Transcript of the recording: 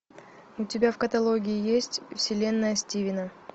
у тебя в каталоге есть вселенная стивена